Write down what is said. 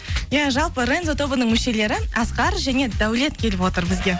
иә жалпы рензо тобының мүшелері асқар және даулет келіп отыр бізге